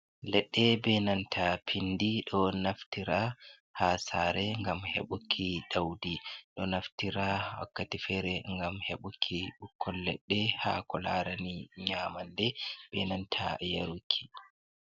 Leɗɗe ɓe nanta pinɗi, ɗo naftira ha sare ngam heɓuki ɗauɗi. Ɗo naftira wakkati fere ngam heɓuki ɓukkon leɗɗe, ha ko larani nyamanɗe ɓe nanta yaruki.